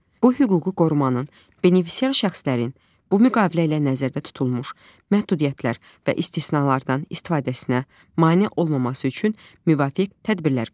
bu hüquqi qorumanın benefisiar şəxslərin bu müqavilə ilə nəzərdə tutulmuş məhdudiyyətlər və istisnalardan istifadəsinə mane olmaması üçün müvafiq tədbirlər görür.